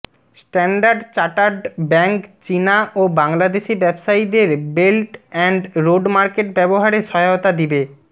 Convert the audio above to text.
standard chartered bank চীনা ও বাংলাদেশী ব্যবসায়ীদের বেল্ট এন্ড রোড মার্কেট ব্যবহারে সহায়তা দিবে